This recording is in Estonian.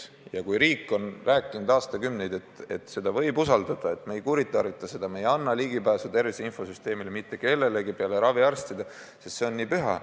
Ja riik on rääkinud aastakümneid, et seda süsteemi võib usaldada, et me ei kuritarvita seda, me ei anna ligipääsu tervise infosüsteemile mitte kellelegi peale raviarstide, sest see on püha lubadus.